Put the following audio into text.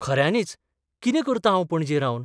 खऱ्यांनीच, कितें करतां हांव पणजे रावन?